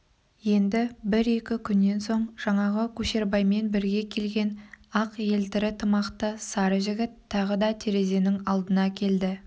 енді бір-екі күннен соң жаңағы көшербаймен бірге келген ақ елтірі тымақты сары жігіт тағы да терезенің алдына келді